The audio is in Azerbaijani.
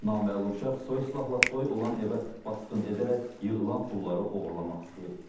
Naməlum şəxs soyuq silahla toy olan evə basqın edərək yığılan pulları oğurlamaq istəyib.